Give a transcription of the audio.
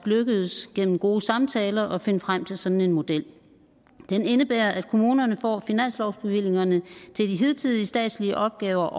lykkedes gennem gode samtaler at finde frem til sådan en model den indebærer at kommunerne får finanslovsbevillingerne til de hidtidige statslige opgaver